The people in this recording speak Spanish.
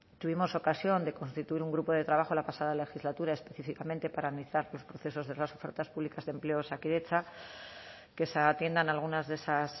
tuvimos ocasión de constituir un grupo de trabajo la pasada legislatura específicamente para analizar los procesos de las ofertas públicas de empleo de osakidetza que se atiendan algunas de esas